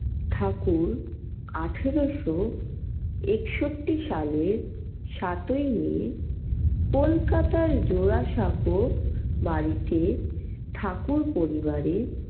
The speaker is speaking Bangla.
ঠাকুর আঠারো শো একষট্টি সালের সাতই may কলকাতার জোড়াসাঁকো বাড়িতে ঠাকুর পরিবারে।